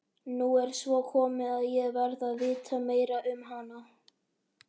Nú er svo komið að ég verð að vita meira um hana.